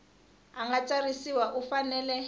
a nga tsarisiwa u fanele